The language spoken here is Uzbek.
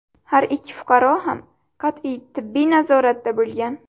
Har ikki fuqaro ham qat’iy tibbiy nazoratda bo‘lgan.